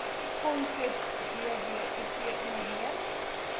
konsep dbip onderneem